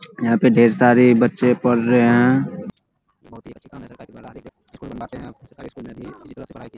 यहाँ पे ढेर सारे बच्चे पर रहे हैं --